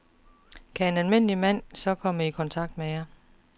Kan en almindelig mand så komme i kontakt med jer?